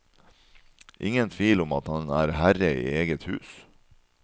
Ingen tvil om at han er herre i eget hus.